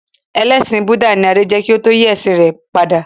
Ẹlẹsin Búdà ni Adé jẹ́ kí ó tó yí ẹ̀sìn rẹ̀ padà